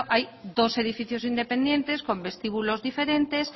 hay dos edificios independientes con vestíbulos diferentes